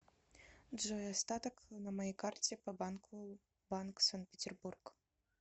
джой остаток на моей карте по банку банк санкт петербург